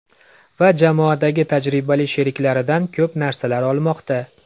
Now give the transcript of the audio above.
Va jamoadagi tajribali sheriklaridan ko‘p narsalar olmoqda.